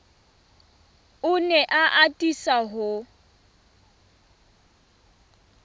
o ne a atisa ho